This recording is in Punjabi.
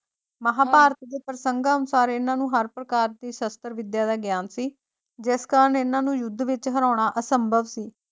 ਮਹਾਂਭਾਰਤ ਦੇ ਪ੍ਰਸੰਗਾਂ ਅਨੁਸਾਰ ਇਹਨਾਂ ਨੂੰ ਹਰ ਪ੍ਰਕਾਰ ਦੀ ਸ਼ਸਤਰ ਵਿੱਦਿਆ ਦਾ ਗਿਆਨ ਸੀ, ਜਿਸ ਕਾਰਨ ਇਹਨਾਂ ਨੂੰ ਯੁੱਧ ਵਿੱਚ ਹਰਾਉਣਾ ਅਸੰਭਵ ਸੀ।